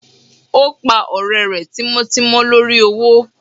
o pa ọrẹ rẹ tímò timò lorí owo